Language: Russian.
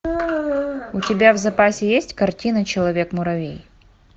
у тебя в запасе есть картина человек муравей